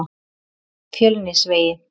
Fjölnisvegi